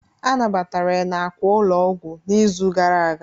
A nabatara ya n'àkwà ụlọ ọgwụ n'izu gara aga